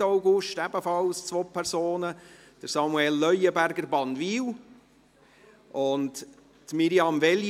Am 3. August waren es ebenfalls zwei Personen: Samuel Leuenberger, Bannwil, und Mirjam Veglio.